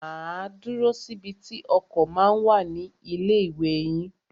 Máa dúró síbi tí ọkọ̀ ma ń wà ní ilé ìwé yín.